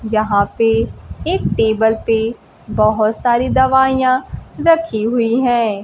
यहां पे एक टेबल पे बहुत सारी दवाइयां रखी हुई हैं।